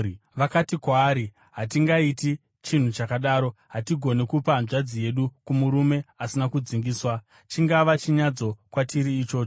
Vakati kwaari, “Hatingaiti chinhu chakadaro; hatigoni kupa hanzvadzi yedu kumurume asina kudzingiswa. Chingava chinyadziso kwatiri ichocho.